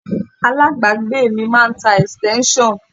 Alábàágbé mi máa ń tá extension.